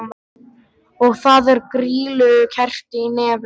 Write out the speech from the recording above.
Og það er grýlukerti í nefinu!